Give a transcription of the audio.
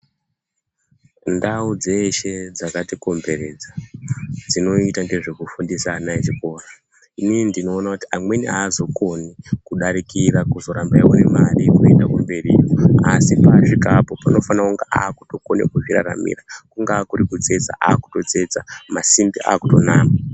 Ndau dzeshe dzakatikomberedza dzinoita ngezvekufundisa ana echikora inini ndinoona kuti amweni aazokoni kudarikira kuzoramba eiona mare yekuenda mberi asi paasvikapo anofanire kunge okwanisa kuzviraramira kungaa kutsetsa ototsetsa, masimbi otonama.